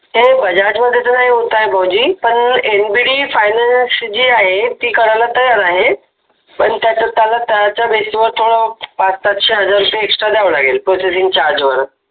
हे बजाज मध्ये तर नाही होत आहे भाऊजी पण nbd फायनान्स जे आहे ते करायला तयार आहे पण त्याला त्याच्या बेस वर थोडं पाच सातशे हजार रुपये एक्सट्रा द्यावे लागतील प्रोसेसिंग चार्जे वर